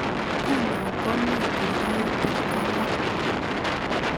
Nguno komi kurgatik alak